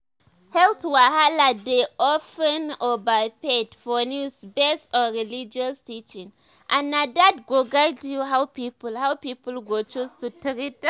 health wahala dey of ten overhyped for news based on religious teachings and na that go guide how people how people go choose to treat am."